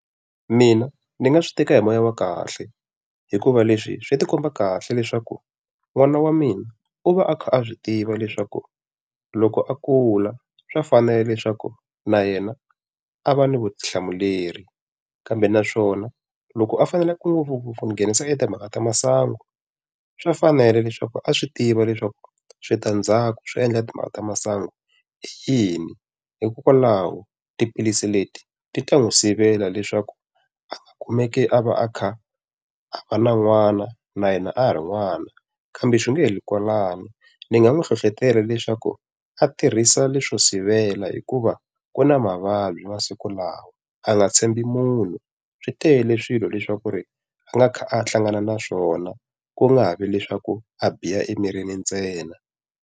Mina ni nga swi teka hi moya wa kahle hikuva leswi swi ti khoma kahle leswaku n'wana wa mina u va a kha a swi tiva leswaku loko a kula swa fanela leswaku na yena a va ni vutihlamuleri. Kambe naswona loko a faneleke ku nghenisa eka timhaka ta masangu, swa fanela leswaku a swi tiva leswaku switandzhaku swo endla timhaka ta masangu i yini. Hikokwalaho tiphilisi leti ti ta n'wi sivela leswaku a nga kumeki a va a kha a va na n'wana na yena a ha ri n'wana. Kambe swi nga heleli kwalano, ni nga n'wi hlohletela leswaku a tirhisa leswo sivela hikuva ku na mavabyi masiku lawa a nga tshembi munhu. Swi tele swilo leswaku ri a nga kha a hlangana na swona, ku nga ha vi le swa ku a biha emirini ntsena.